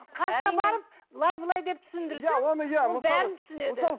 қасына барып былай былай деп түсіндірсең ол бәрін түсінеді